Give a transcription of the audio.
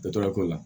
Dɔtɔrɔya ko la